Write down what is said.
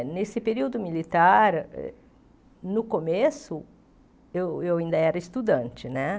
Nesse período militar, no começo, eu eu ainda era estudante, né?